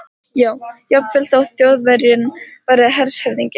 já, jafnvel þótt Þjóðverjinn væri hershöfðingi.